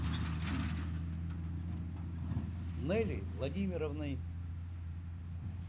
нелей владимировной